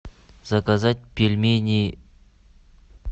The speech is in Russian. заказать пельмени